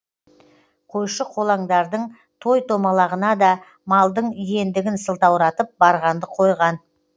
қойшы қолаңдардың той томалағына да малдың иендігін сылтауратып барғанды қойған